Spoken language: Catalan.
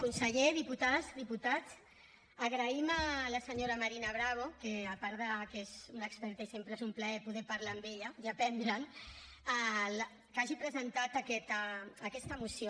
conseller diputades diputats agraïm a la senyora marina bravo a part que és una experta i sempre és un plaer poder parlar amb ella i aprendre’n que hagi presentat aquesta moció